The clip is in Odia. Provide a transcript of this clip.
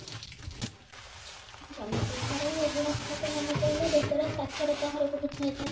ଜନସଂଖ୍ୟାର ଗୁଣାତ୍ମକ ମାନ କହିଲେ ଦେଶର ସାକ୍ଷରତା ହାରକୁ ବୁଝାଯାଏ